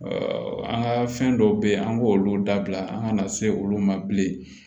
an ka fɛn dɔw bɛ yen an k'olu dabila an kana se olu ma bilen